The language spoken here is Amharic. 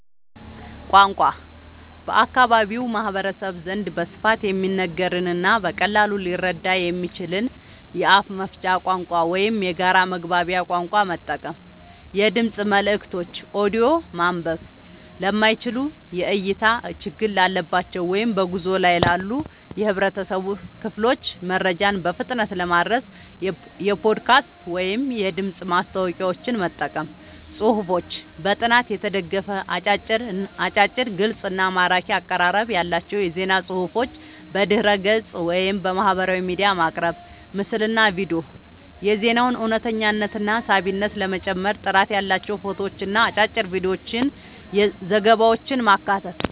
ቋንቋ፦ በአካባቢው ማህበረሰብ ዘንድ በስፋት የሚነገርንና በቀላሉ ሊረዳ የሚችልን የአፍ መፍቻ ቋንቋ ወይም የጋራ መግባቢያ ቋንቋ መጠቀም። የድምፅ መልእክቶች (ኦዲዮ)፦ ማንበብ ለማይችሉ፣ የእይታ ችግር ላለባቸው ወይም በጉዞ ላይ ላሉ የህብረተሰብ ክፍሎች መረጃን በፍጥነት ለማድረስ የፖድካስት ወይም የድምፅ ማስታወቂያዎችን መጠቀም። ጽሁፎች፦ በጥናት የተደገፉ፣ አጫጭር፣ ግልጽ እና ማራኪ አቀራረብ ያላቸው የዜና ፅሁፎችን በድረ-ገጽ፣ ወይም በማህበራዊ ሚዲያ ማቅረብ። ምስልና ቪዲዮ፦ የዜናውን እውነተኝነትና ሳቢነት ለመጨመር ጥራት ያላቸው ፎቶዎችንና አጫጭር የቪዲዮ ዘገባዎችን ማካተት።